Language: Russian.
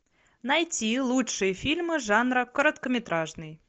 найти лучшие фильмы жанра короткометражный